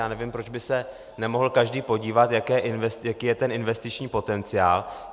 Já nevím, proč by se nemohl každý podívat, jaký je ten investiční potenciál.